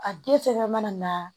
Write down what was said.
A den fɛnɛ mana na